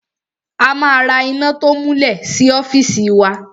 A ma ra iná to múlẹ̀ sí ọ́fìsì wa.